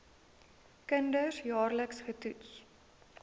kinders jaarliks getoets